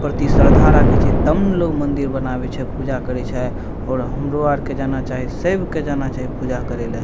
प्रति श्रद्धा राखे छै तब ने लोग मंदिर बनावे छै पूजा करे छै और हमरो आर के जाना चाही सएब के जाना चाही पूजा करे ले।